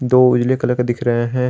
दो नीले कलर का दिख रहे हैं।